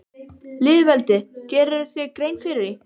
Lýðveldið, gerirðu þér grein fyrir því?